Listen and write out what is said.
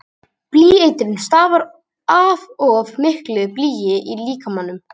Blýeitrun stafar af of miklu blýi í líkamanum.